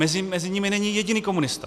Mezi nimi není jediný komunista.